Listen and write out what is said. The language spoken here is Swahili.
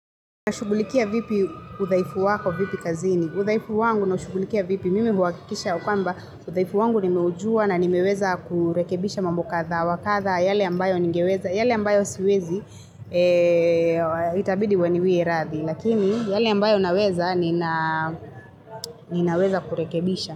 Nashughulikia vipi udaifu wako vipi kazini. Udaifu wangu na shugulikia vipi. Mimi huakikisha kwamba udhaifu wangu nimeujua na nimeweza kurekebisha mambo kadha wa kadha yale ambayo ningeweza. Yale ambayo siwezi itabidi waniwie radhi. Lakini yale ambayo naweza ninaweza kurekebisha.